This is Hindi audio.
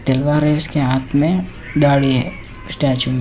तलवार है इसके हाथ में दाड़ी है स्टैचू--